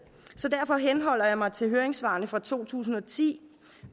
så derfor henholder jeg mig til høringssvarene fra to tusind og ti